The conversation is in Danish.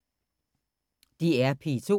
DR P2